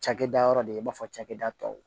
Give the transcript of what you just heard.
Cakɛda yɔrɔ de i b'a fɔ cakɛda tɔw